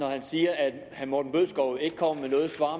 herre morten bødskov ikke kommer med noget svar